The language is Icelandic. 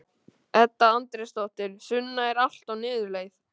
Edda Andrésdóttir: Sunna, er allt á niðurleið?